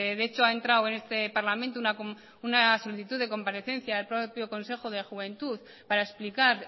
de hecho ha entrado en este parlamento una solicitud de comparecencia del propio consejo de juventud para explicar